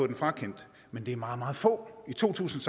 den frakendt men det er meget meget få i to tusind